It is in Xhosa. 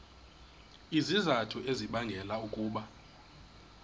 izizathu ezibangela ukuba